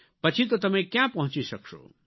પછી તો તમે ક્યાં પહોંચી શકશો